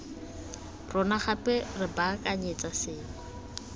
rona gape re baakanyetsa sengwe